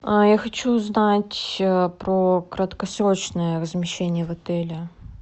я хочу узнать про краткосрочное размещение в отеле